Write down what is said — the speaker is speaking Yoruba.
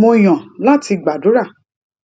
mo yàn láti gbàdúrà